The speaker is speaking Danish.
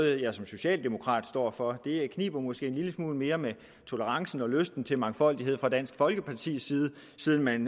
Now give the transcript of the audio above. jeg som socialdemokrat står for det kniber måske en lille smule mere med tolerancen og lysten til mangfoldighed fra dansk folkepartis side siden man